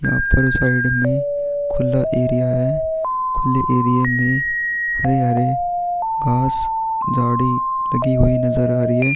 यहाँ पर साइड में खुला एरिया है खुले एरिये में हरे - हरे घास गाड़ी लगी हुई नजर आ रही है।